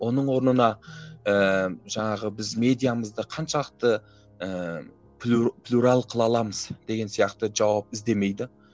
оның орнына ыыы жаңағы біз медиамызды қаншалықты ыыы плюрал қыла аламыз деген сияқты жауап іздемейді